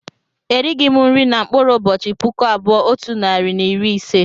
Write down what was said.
Erighị m nri na mkpụrụ ụbọchị puku abụọ otu narị na iri ise